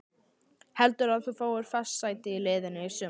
Heldurðu að þú fáir fast sæti í liðinu í sumar?